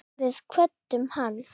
Við kvöddum hann.